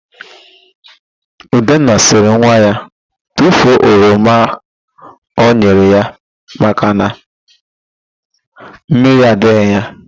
Udenna sịrị nwa ya tufuo oroma ọ nyere ya maka na mmiri adịghị ya.